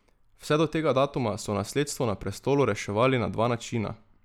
Vse do tega datuma so nasledstvo na prestolu reševali na dva načina.